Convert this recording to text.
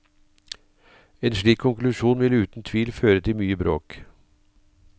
En slik konklusjon vil uten tvil føre til mye bråk.